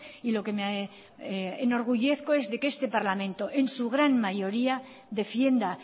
y lo que me enorgullezco es de que este parlamento en su gran mayoría defienda